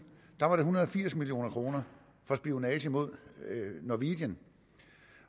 var en hundrede og firs million kroner for spionage mod norwegian